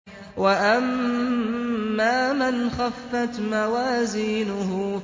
وَأَمَّا مَنْ خَفَّتْ مَوَازِينُهُ